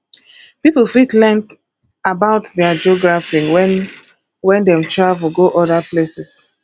pipo fit learn about their geography when when dem travel go oda places